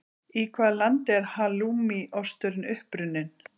Í hvaða landi er halloumi osturinn uppruninn?